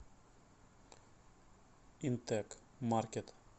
интэк маркет